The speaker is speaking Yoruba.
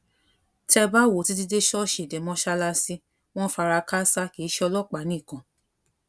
tẹ ẹ bá wò ó títí dé ṣọọṣì dé mọṣáláàsì wọn ń fara káásá kì í ṣe ọlọpàá nìkan